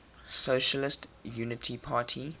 socialist unity party